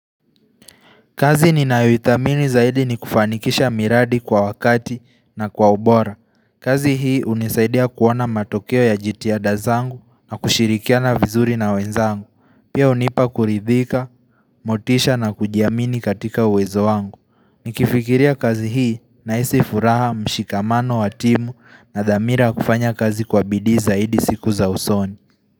Kazi ninayoithamini zaidi ni kufanikisha miradi kwa wakati na kwa ubora. Kazi hii hunisaidia kuona matokeo ya jitihada zangu na kushirikiana vizuri na wenzangu. Pia hunipa kuridhika, motisha na kujiamini katika uwezo wangu. Nikifikiria kazi hii nahisi furaha mshikamano wa timu na dhamira ya kufanya kazi kwa bidii zaidi siku za usoni.